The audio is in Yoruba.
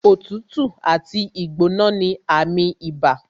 Òtútù àti ìgbóná ní àmì ibà